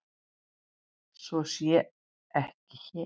Svo sé ekki hér.